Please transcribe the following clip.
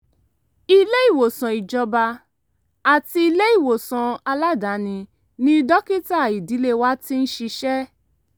ilé-ìwòsàn ìjọba àti ilé-ìwòsàn aládàáni ni dókítà ìdílé wa ti ń ṣiṣẹ́